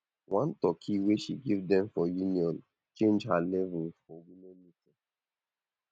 one turkey wey she give dem for union change her level for women meeting